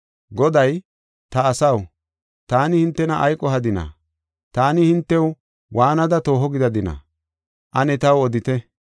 Goday, “Ta asaw, taani hintena ay qohadinaa? Taani hintew waanada tooho gidadina? Ane taw odite!